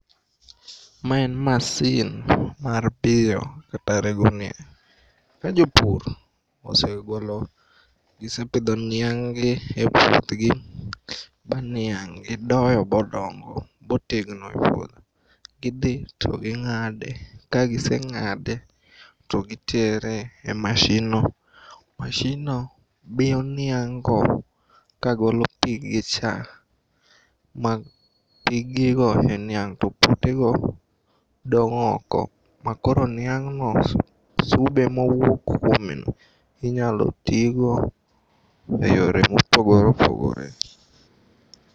Ma en masin mar biyo kata rego niang'.Ka jopur osegolo, gisepidho niang'gi e puothgi ba niang' gidoyo bodongo botegno e puodho gidhi to ging'ade kagiseng'ade to gitere e mashinno. Mashinno biyo niang'go kagolo piggicha ma piggigo e niang' to potego dong' oko ma koro niang'no sube ma owuok kuome inyalotigo e yore mopogore opogore.